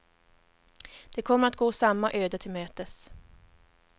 De kommer att gå samma öde till mötes.